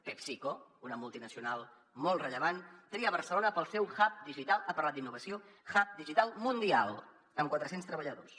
pepsico una multinacional molt rellevant tria barcelona per al seu hub digital ha parlat d’innovació hub digital mundial amb quatre cents treballadors